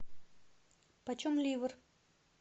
почем ливр